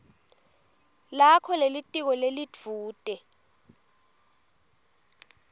lakho lelitiko lelidvute